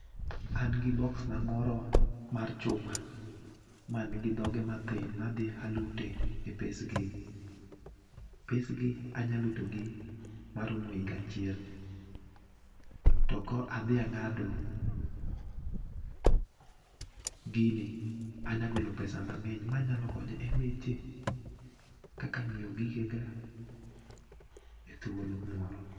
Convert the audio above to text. An gi box na moro mar chuma, man gi dhoge mathin madhi alute e pesgi. Pesgi anyalutogi maromo higa achiel. To ko adhi ang'ado gini anyagolo pesa mang'eny manyalo konyo e weche kaka ng'iewo gigega e thuolo moro.